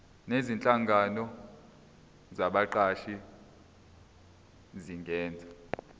nezinhlangano zabaqashi zingenza